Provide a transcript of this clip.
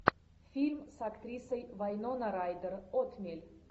фильм с актрисой вайнона райдер отмель